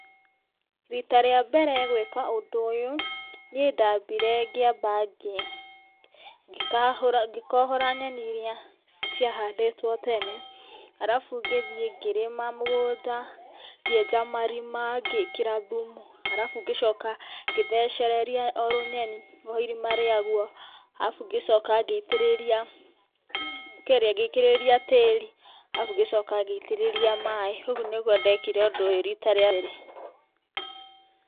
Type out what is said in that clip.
Rita rĩa mbere gwĩka ũndũ ũyũ niĩ ndambire ngĩamba ngĩkohora nyeni iria ciahandĩtwo tene arabu ngĩthiĩ ngĩrĩma mũgũnda ngĩenja marima ngĩkĩra thumu arabu ngĩcoka ngĩthecereria o rũnyeni o irima rĩaguo arabu ngĩcoka ngĩitĩrĩria tĩri arabu ngĩcoka ngĩitĩrĩria maĩ. Ũgũo nĩguo ndekire ũndũ ũyũ rita rĩa mbere.